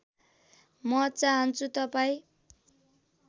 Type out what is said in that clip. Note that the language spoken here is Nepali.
म चाहन्छु तपाईँ